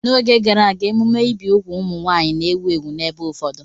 N'oge gara aga, emume ibi úgwù ụmụ nwaanyị na-ewu ewu n'ebe ụfọdụ.